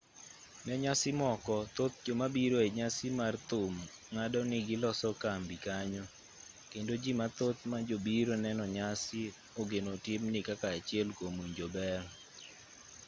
ne nyasi moko thoth jomabiro enyasi mar thum ng'ado ni giloso kambi kanyo kendo jii mathoth majobiro neno nyasi ogeno timni kaka achiel kuom winjo ber